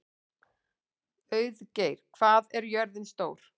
Auðgeir, hvað er jörðin stór?